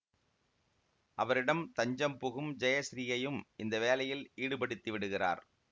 அவரிடம் தஞ்சம் புகும் ஜெயசிறீயையும் இந்த வேலையில் ஈடுபடுத்தி விடுகிறார்